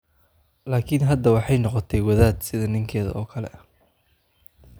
Laakiin hadda waxay noqotay wadaad sida ninkeeda oo kale ah.